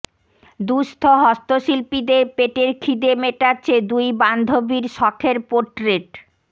দুঃস্থ হস্তশিল্পীদের পেটের খিদে মেটাচ্ছে দুই বান্ধবীর শখের পোট্রেট